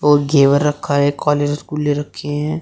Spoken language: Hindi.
और घेवर रखा है काले रसगुल्ले रखे हैं।